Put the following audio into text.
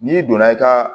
N'i donna i ka